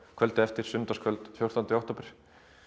kvöldið eftir sunnudagskvöld fjórtánda október